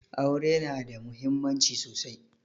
Aure na da muhimmanci sosai